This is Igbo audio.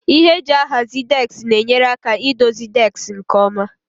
Ihe eji ahazi deski na-enyere aka idozi deski nke ọma.